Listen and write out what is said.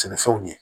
Sɛnɛfɛnw ye